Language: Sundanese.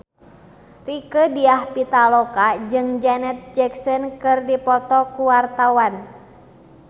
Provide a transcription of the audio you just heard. Rieke Diah Pitaloka jeung Janet Jackson keur dipoto ku wartawan